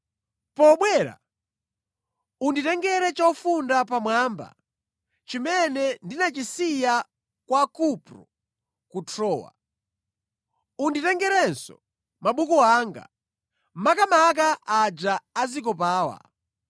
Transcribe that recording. Pobwera, unditengere chofunda pamwamba chimene ndinachisiya kwa Kupro ku Trowa. Unditengerenso mabuku anga, makamaka aja azikopawa.